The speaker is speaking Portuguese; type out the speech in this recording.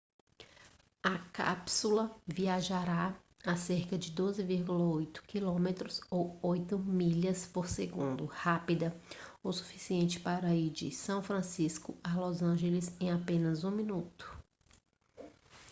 a cápsula viajará a cerca de 12,8 km ou 8 milhas por segundo rápida o suficiente para ir de são francisco a los angeles em apenas um minuto